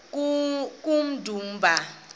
kummdumba